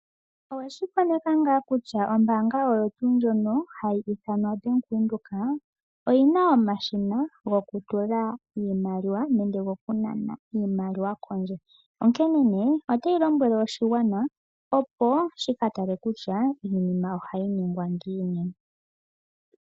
Oweshi koneka ngaa kutya ombaanga oyo tuu ndjono hayi ithanwa Bank Windhoek oyina omashina goku tula iimaliwa nenge goku nana iimaliwa kondje? Onkene nee otayi lombwele oshigwana, opo shi ka tale kutya iinima ohayi ningwa ngiini.